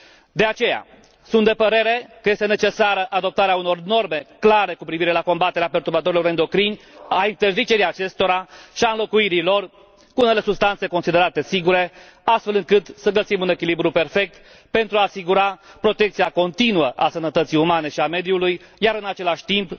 De aceea, sunt de părere că este necesară adoptarea unor norme clare cu privire la combaterea perturbatorilor endocrini, a interzicerii acestora și a înlocuirii lor cu unele substanțe considerate sigure, astfel încât să găsim un echilibru perfect pentru a asigura protecția continuă a sănătății umane și a mediului și, în același timp,